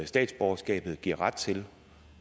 statsborgerskabet giver ret til